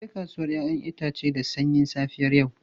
Mun je kasuwar 'ya'yan itace da sanyin safiyar yau.